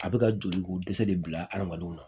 A bɛ ka joli ko dɛsɛ de bila hadamadenw na